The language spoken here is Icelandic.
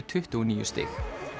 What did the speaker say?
tuttugu og níu stig